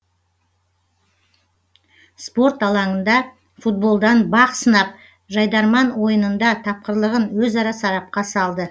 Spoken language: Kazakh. спорт алаңында футболдан бақ сынап жайдарман ойынында тапқырлығын өзара сарапқа салды